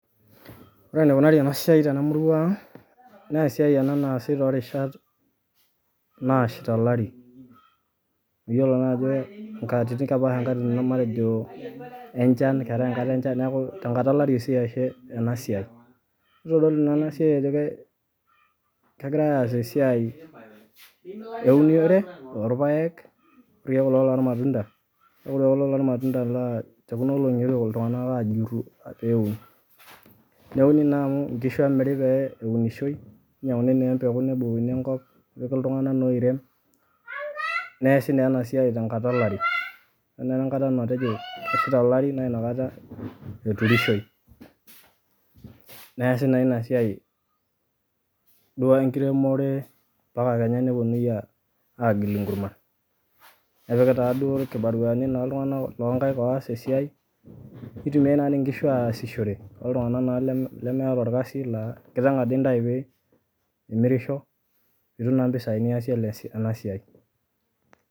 Ore enikunari ena siai tena murua aang' naa esiai ena naasi too rishat naashita olari amu iyiolo naa ajo nkatitin kepaasha nkatitin matejo enchan keetai enkata enchan, neeku tenkata olari oshi eesi ena siai. Itodolu naa ena siai ajo kegirai aas esiai eunore orpaek [ kulo lormatunda, ore kulo lormatunda naa te kuna olong'i eetuo iltung'anak aajuru peeun. Neuni naa amu nkishu emiri pee eunishoi ninyang'uni naa empeku nebukokini enkop, nepiki iltung'anak naa oirem neesi naa ena siai te nkata olari. Ore naa enkata matejo keshita olari naa inakata eturishoi, neesi naa ina siai duo enkiremore mpaka kenya neponunui aagil inkurman. Nepiki taaduo irkibaruani naa iltung'anak loo nkaek oas esiai nitumiai naa tii nkishu aasishore toltung'anaka naa meeta orkasi naa enkiteng' ade intayu pee imirisho pee itum naa mpisai niasie ena siai.